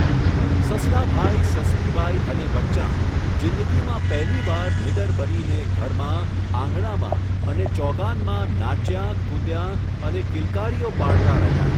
સસલાભાઈ, સસલીબાઈ અને બચ્ચાં જિંદગીમાં પહેલી વાર નીડર બનીને ઘરમાં, આંગણામાં અને ચોગાનમાં નાચ્યાં, કૂદ્યાં અને કિલકારીઓ પાડતાં રહ્યાં.